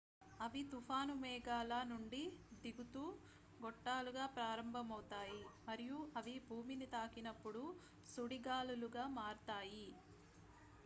"అవి తుఫాను మేఘాల నుండి దిగుతూ గొట్టాలుగా ప్రారంభమవుతాయి మరియు అవి భూమిని తాకినప్పుడు "సుడిగాలులు""గా మారుతాయి.